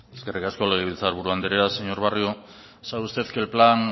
eskerrik asko legebiltzar buru andrea señor barrio sabe usted que el plan